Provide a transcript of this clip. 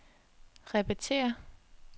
repetér